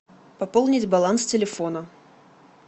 пополнить баланс телефона